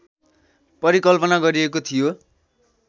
परिकल्पना गरिएको थियो